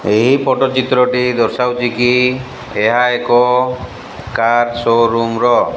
ଏହି ଫୋଟୋ ଚିତ୍ରଟି ଦର୍ଶାଉଛି କି ଏହା ଏକ କାର ଶୋ-ରୁମ୍ ର।